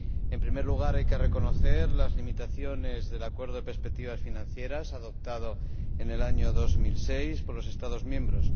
En primer lugar, hay que reconocer las limitaciones del acuerdo de perspectivas financieras adoptado en el año 2006 por los Estados miembros.